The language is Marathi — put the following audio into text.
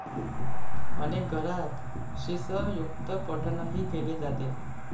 अनेक घरांत श्रीसयुक्तपठणही केले जाते.